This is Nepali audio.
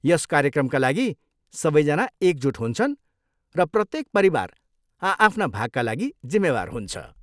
यस कार्यक्रमका लागि सबैजना एकजुट हुन्छन् , र प्रत्येक परिवार आ आफ्ना भागका लागि जिम्मेवार हुन्छ।